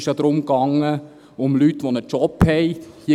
Bei diesem ging es um Leute, die einen Job haben.